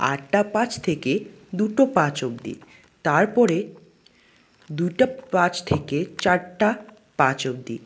আটটা পাঁচ থেকে দুটো পাঁচ অব্দি তারপরে দুইটা পাঁচ থেকে চারটা পাঁচ অবধি।